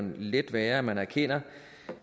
let være at man erkender